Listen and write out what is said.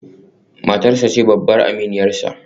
Matarsa ​​ce babbar aminiyarsa